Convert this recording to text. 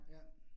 Ja